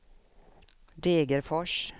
Degerfors